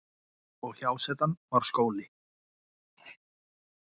Og hjásetan var skóli.